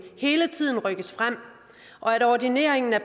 hele tiden rykkes frem og at ordinering af